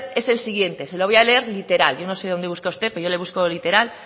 es el siguiente se lo voy a leer literal yo no sé dónde busca usted pero yo le busco literal